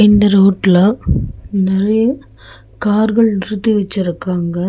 இந்த ரோட்ல நெறைய கார்கள் நிறுத்தி வச்சிருக்காங்க.